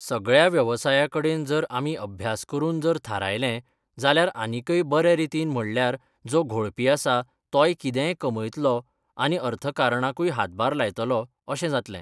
सगळ्या वेवसाया कडेन जर आमी अभ्यास करून जर थारयलें जाल्यार आनीकय बरें रितीन म्हणल्यार जो घोळपी आसा तोय कितेंय कमयतलो आनी अर्थकरणाकूय हातभार लायतलो अशें जातलें.